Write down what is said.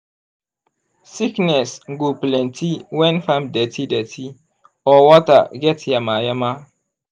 sickness go plenty when farm dirty dirty or water get yama-yama.